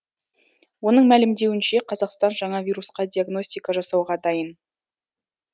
оның мәлімдеуінше қазақстан жаңа вирусқа диагностика жасауға дайын